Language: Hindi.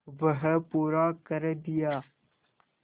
वह पूरा कर दिया